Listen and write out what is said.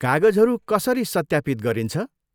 कागजहरू कसरी सत्यापित गरिन्छ?